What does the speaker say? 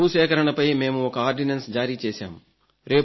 భూసేకరణపై మేము ఒక ఆర్డినెన్స్ జారీ చేశాము